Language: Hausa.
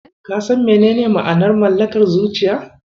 Ka san menene ma'anar Mallakar zuciya?